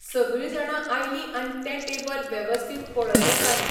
सगळीं जाणां आयलीं आनी तें टेबल वेवस्थीत पळयलें तांणी.